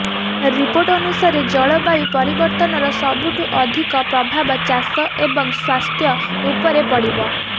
report ଅନୁସାରେ ଜଳବାୟୁ ପରିବର୍ତ୍ତନର ସବଠୁ ଅଧିକ ପ୍ରଭାବ ଚାଷ ଏବଂ ସ୍ୱାସ୍ଥ୍ୟ ଉପରେ ପଡ଼ିବ